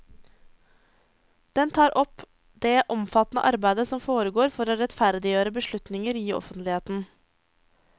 Den tar opp det omfattende arbeidet som foregår for å rettferdiggjøre beslutninger i offentligheten.